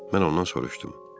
Mən ondan soruşdum.